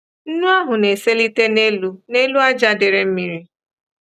Nnu ahụ na-eselite n'elu n'elu ájá dere mmiri.